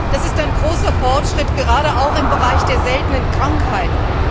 Das ist ein großer Fortschritt, gerade auch im Bereich der seltenen Krankheiten.